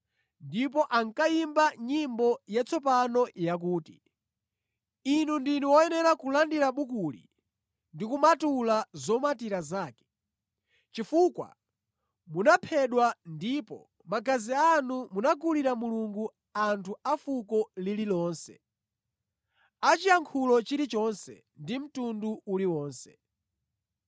Ndipo ankayimba nyimbo yatsopano yakuti, “Inu ndinu woyenera kulandira bukuli ndi kumatula zomatira zake, chifukwa munaphedwa, ndipo magazi anu munagulira Mulungu anthu a fuko lililonse, a chiyankhulo chilichonse, ndi mtundu uliwonse.